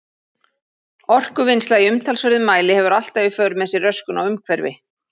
Orkuvinnsla í umtalsverðum mæli hefur alltaf í för með sér röskun á umhverfi.